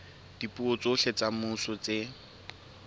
dipuo tsohle tsa semmuso tse